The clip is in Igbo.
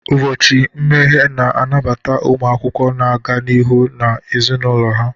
Ụbọchị mmeghe na-anabata ụmụ akwụkwọ na-aga n'ihu na ezinụlọ ha.